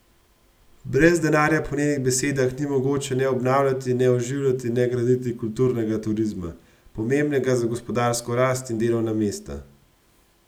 Brez denarja po njenih besedah ni mogoče ne obnavljati in ne oživljati in ne graditi kulturnega turizma, pomembnega za gospodarsko rast in delovna mesta.